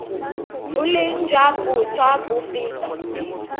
boleng jwa boswa bo feta